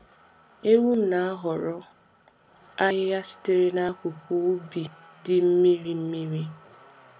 Ewum na-ahọrọ ahịhịa sitere n’akụkụ ubi dị n’akụkụ ubi dị mmiri mmiri.